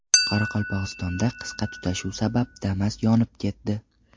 Qoraqalpog‘istonda qisqa tutashuv sabab Damas yonib ketdi.